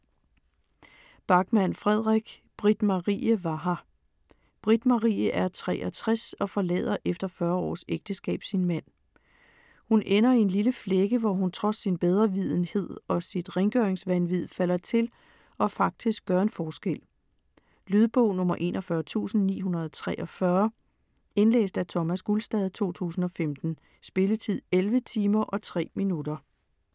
Backman, Fredrik: Britt-Marie var her Britt-Marie er 63 og forlader efter 40 års ægteskab sin mand. Hun ender i en lille flække, hvor hun trods sin bedrevidenhed og sit rengøringsvanvid falder til og faktisk gør en forskel. Lydbog 41943 Indlæst af Thomas Gulstad, 2015. Spilletid: 11 timer, 3 minutter.